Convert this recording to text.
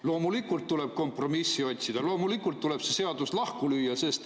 Loomulikult tuleb kompromissi otsida, loomulikult tuleb see seadus lahku lüüa.